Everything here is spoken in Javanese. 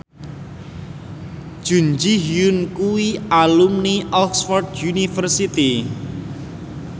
Jun Ji Hyun kuwi alumni Oxford university